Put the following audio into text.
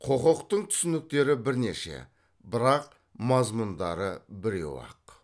құқықтың түсініктері бірнеше бірақ мазмұндары біреу ақ